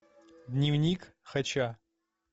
дневник хача